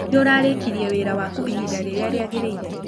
Nĩũrarĩkĩrĩe wĩra wakũ ĩhĩda rĩrĩa rĩagĩrĩĩre?